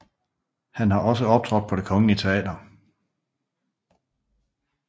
Han har også optrådt på Det kongelige Teater